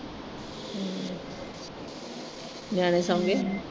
ਹਮ ਨਿਆਣੇ ਸੌ ਗਏ?